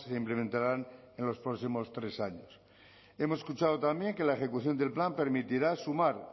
implementarán en los próximos tres años hemos escuchado también que la ejecución del plan permitirá sumar